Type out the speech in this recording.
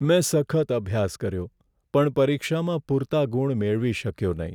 મેં સખત અભ્યાસ કર્યો પણ પરીક્ષામાં પૂરતા ગુણ મેળવી શક્યો નહીં.